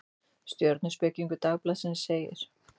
Stjörnuspekingur Dagblaðsins segir: